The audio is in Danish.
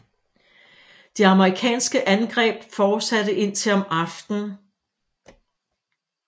De amerikanske angreb fortsatte indtil om aftenen